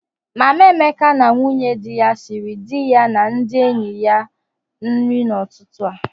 Mama Emeka na nwunye di ya siri di ha na ndị enyi ya nri n'ụtụtụ.